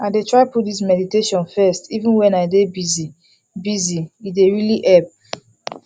i dey try put this meditation first even when i dey busy busy e dey really help